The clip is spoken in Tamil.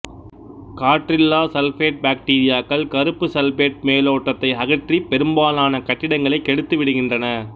காற்றில்லா சல்பேட்பாக்டீரியாக்கள் கருப்பு சல்பேட் மேலோட்டத்தை அகற்றி பெரும்பாலான கட்டிடங்களை கெடுத்துவிடுகின்றன